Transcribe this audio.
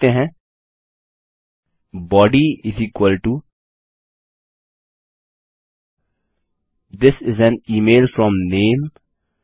यहाँ हम लिखते हैं body this is an email from name